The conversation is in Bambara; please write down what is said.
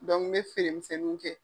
n be feere misɛnninw kɛ.